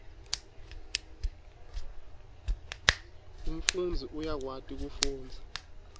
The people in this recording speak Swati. umfundzi uyakwati kufundza